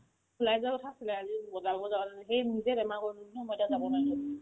ওলাই যোৱাৰ কথা আছিলে আজি বজাৰ কৰিব যোৱাৰ কাৰণে সেই নিজে বেমাৰ কৰিলো ন মই এতিয়া যাব নোৱাৰিলো